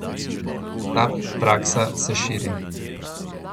Ta praksa se širi.